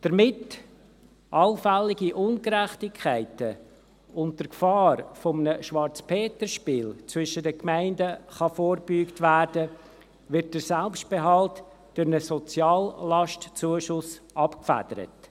Damit allfällige Ungerechtigkeiten und der Gefahr eines Schwarzer-Peter-Spiels zwischen den Gemeinden vorgebeugt werden kann, wird der Selbstbehalt durch einen «Soziallastzuschuss» abgefedert.